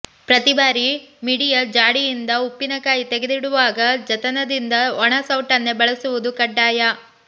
ಪ್ರತಿ ಬಾರಿ ಮಿಡಿಯ ಜಾಡಿಯಿಂದ ಉಪ್ಪಿನಕಾಯಿ ತೆಗೆದಿಡುವಾಗ ಜತನದಿಂದ ಒಣ ಸೌಟನ್ನೇ ಬಳಸುವುದು ಕಡ್ಡಾಯ